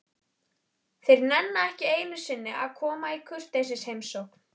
Þeir nenna ekki einu sinni að koma í kurteisisheimsókn.